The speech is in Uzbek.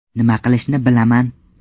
Nima qilishni bilaman.